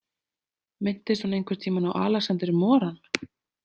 Minntist hún einhvern tímann á Alexander Moran?